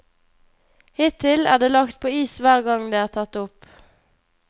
Hittil er det lagt på is hver gang det er tatt opp.